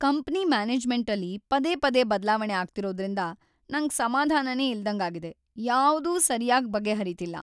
Company ಮ್ಯಾನೇಜ್ಮೆಂಟಲ್ಲಿ ಪದೇ ಪದೇ ಬದ್ಲಾವಣೆ ಆಗ್ತಿರೋದ್ರಿಂದ ನಂಗ್‌ ಸಮಾಧಾನನೇ ಇಲ್ದಂಗಾಗಿದೆ, ಯಾವ್ದೂ ಸರ್ಯಾಗ್‌ ಬಗೆಹರೀತಿಲ್ಲ.